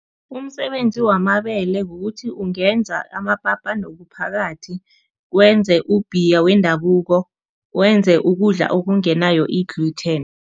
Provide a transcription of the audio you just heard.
Umsebenzi wamabele kukuthi ungenza amapapa nophakathi, wenze u-beer wendabuko, wenze ukudla okungenayo i-gluten.